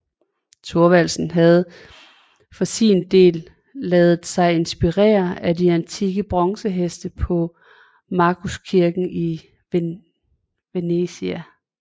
Thorvaldsen havde for sin del ladet sig inspirere af de antikke bronzeheste på Markuskirken i Venezia